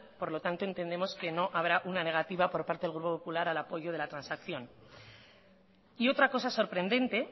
por lo tanto entendemos que no habrá una negativa por parte del grupo popular al apoyo de la transacción y otra cosa sorprendente